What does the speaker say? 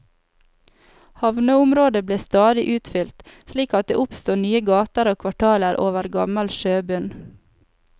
Havneområdet ble stadig utfylt, slik at det oppstod nye gater og kvartaler over gammel sjøbunn.